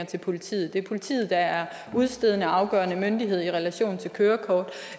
til politiet det er politiet der er udstedende og afgørende myndighed i relation til kørekort og